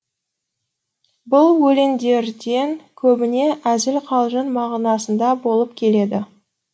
бұл өлеңдерден көбіне әзіл қалжың мағынасында болып келеді